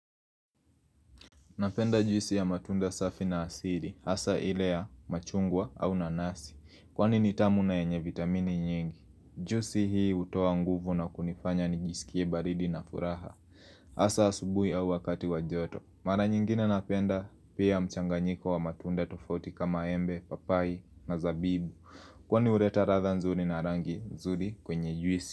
Napenda juisi ya matunda safi na asili. Hasa ile ya, machungwa au nanasi. Kwani ni tamu na yenye vitamini nyingi. Juisi hii hutoa nguvu na kunifanya nijisikie baridi na furaha. Hasa asubuhi au wakati wa joto. Mara nyingine napenda pia mchanganyiko wa matunda tofauti kama embe, papai na zabibu. Kwani huleta ladha nzuri na rangi nzuri kwenye juisi.